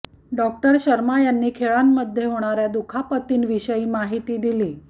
doctor Sharma यांनी खेळांमध्ये होणाऱ्या दुखापतीं विषयी विषयी माहिती दिली